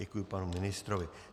Děkuji panu ministrovi.